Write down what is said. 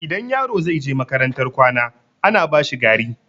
Idan yaro zai je makarantar kwana, ana bashi gari.